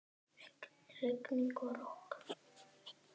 Rigning og rok.